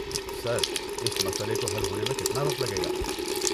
سر، اس مسئلے کو حل ہونے میں کتنا وقت لگے گا؟